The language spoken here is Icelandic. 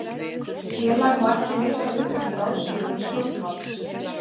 Félag má ekki leysa upp með ráðstöfun stjórnvalds.